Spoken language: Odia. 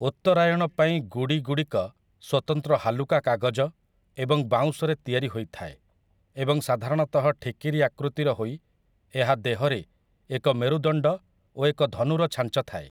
ଉତ୍ତରାୟଣ ପାଇଁ 'ଗୁଡ଼ି' ଗୁଡ଼ିକ ସ୍ୱତନ୍ତ୍ର ହାଲୁକା କାଗଜ ଏବଂ ବାଉଁଶରେ ତିଆରି ହୋଇଥାଏ, ଏବଂ ସାଧାରଣତଃ ଠିକିରି ଆକୃତିର ହୋଇ ଏହା ଦେହରେ ଏକ ମେରୁଦଣ୍ଡ ଓ ଏକ ଧନୁର ଛାଞ୍ଚ ଥାଏ ।